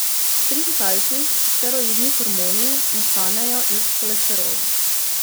Pri sesalcih steroidni hormoni nastanejo iz holesterola.